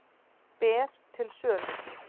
Ber til sölu